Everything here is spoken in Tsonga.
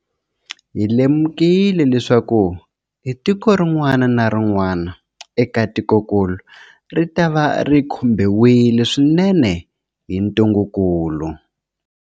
Hi lemukile leswaku tiko rin'wana na rin'wana eka tikokulu ritava ri khumbiwile swinene hi ntungukulu.